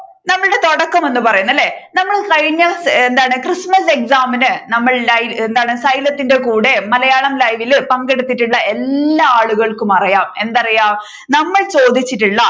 നമ്മളുടെ തുടക്കം എന്ന് പറയുന്നത് അല്ലെ നമ്മൾ കഴിഞ്ഞ എന്താണ് ക്രിസ്തുമസ് exam ഇൻ നമ്മൾ ഉണ്ടായി എന്താണ് xylem ഇന്റെ കൂടെ മലയാളം ലൈവിൽ പങ്കെടുത്തിട്ടുണ്ടായി എല്ലാ ആളുകൾക്കും അറിയാം എന്ത് അറിയാം നമ്മൾ ചോദിച്ചിട്ടുള്ള